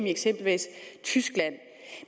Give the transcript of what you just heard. i eksempelvis tyskland